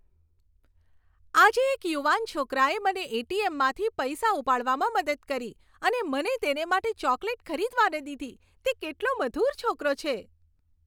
આજે એક યુવાન છોકરાએ મને એટીએમમાંથી પૈસા ઉપાડવામાં મદદ કરી અને મને તેને માટે ચોકલેટ ખરીદવા ન દીધી. તે કેટલો મધુર છોકરો છે.